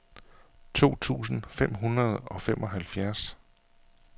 to tusind fem hundrede og femoghalvfjerds